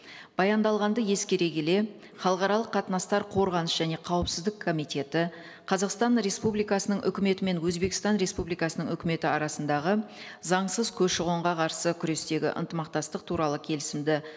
баяндалғанды ескере келе халықаралық қатынастар қорғаныс және қауіпсіздік комитеті қазақстан республикасының үкіметі мен өзбекстан республикасының үкіметі арасындағы заңсыз көші қонға қарсы күрестегі ынтымақтастық туралы келісімді